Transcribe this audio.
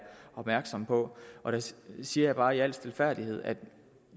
opmærksomme på og der siger jeg bare i al stilfærdighed at